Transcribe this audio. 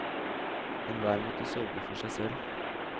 Enhver måtte sørge for seg selv.